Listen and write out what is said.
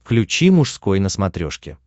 включи мужской на смотрешке